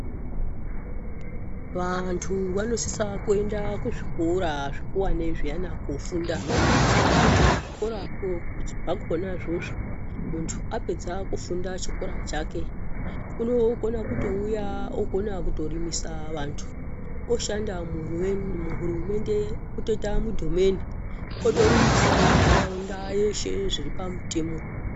Vantu vanosisa kuenda kuzvikora zvekuwane zviyana kufunda ngekuti kuzvikorakwo zvakona izvozvo. Muntu apedza kufunda chikora chakwe unokona kutouya ogona kutorimisa vantu, oshanda muhurumende otoita mudhomeni otorimisawo nharaunda yeshe zviri pamutemo.